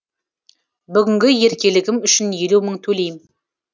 бүгінгі еркелігім үшін елу мың төлейм